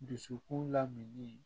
Dusukun laminimini